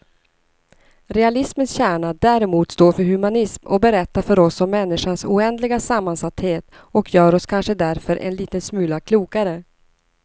Realismens kärna däremot står för humanism och berättar för oss om människans oändliga sammansatthet och gör oss kanske därför en liten smula klokare.